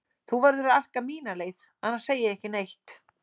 Þú verður að arka mína leið, annars segi ég ekki neitt.